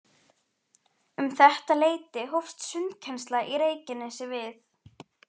Um þetta leyti hófst sundkennsla í Reykjanesi við